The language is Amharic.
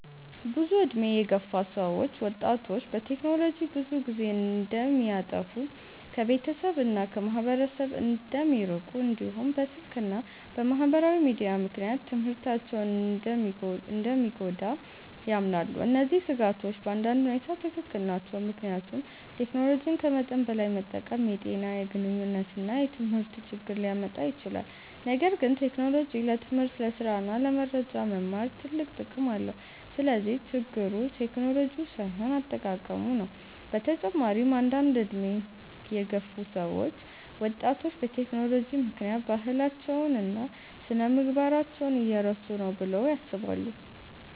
ብዙ ዕድሜ የገፉ ሰዎች ወጣቶች በቴክኖሎጂ ብዙ ጊዜ እንደሚያጠፉ፣ ከቤተሰብ እና ከማህበረሰብ እንደሚርቁ፣ እንዲሁም በስልክ እና በማህበራዊ ሚዲያ ምክንያት ትምህርታቸው እንደሚጎዳ ያምናሉ። እነዚህ ስጋቶች በአንዳንድ ሁኔታ ትክክል ናቸው፣ ምክንያቱም ቴክኖሎጂን ከመጠን በላይ መጠቀም የጤና፣ የግንኙነት እና የትምህርት ችግር ሊያመጣ ይችላል። ነገር ግን ቴክኖሎጂ ለትምህርት፣ ለስራ እና ለመረጃ መማር ትልቅ ጥቅም አለው። ስለዚህ ችግሩ ቴክኖሎጂው ሳይሆን አጠቃቀሙ ነው። በተጨማሪም አንዳንድ ዕድሜ የገፉ ሰዎች ወጣቶች በቴክኖሎጂ ምክንያት ባህላቸውን እና ስነ-ምግባራቸውን እየረሱ ነው ብለው ያስባሉ።